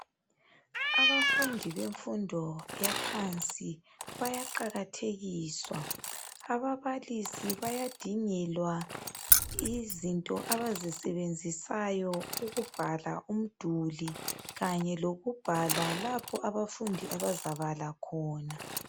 Abafundi bemfundo yaphansi bayaqakathekiswa. Ababalisi bayadingelwa izinto abazisebenzisayo ukubhalwa umduli kanye lokubhala lapha abafundi abazabala khona.